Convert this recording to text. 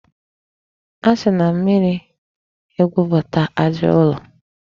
E si na mmiri egwupụta aja ụlọ.